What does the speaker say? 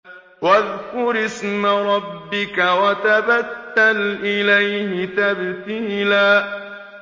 وَاذْكُرِ اسْمَ رَبِّكَ وَتَبَتَّلْ إِلَيْهِ تَبْتِيلًا